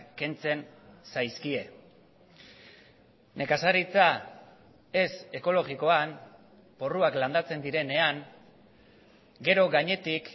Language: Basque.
kentzen zaizkie nekazaritza ez ekologikoan porruak landatzen direnean gero gainetik